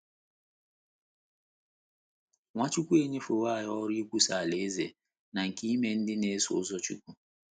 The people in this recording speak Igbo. Nwachukwu enyefewo anyị ọrụ nkwusa Alaeze na nke ime ndị na - eso ụzọ Chukwu.